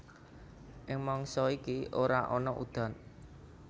Ing mangsa iki ora ana udan